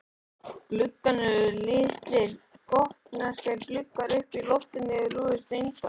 Gluggarnir eru litlir gotneskir gluggar uppi undir lofti rúðurnar steindar.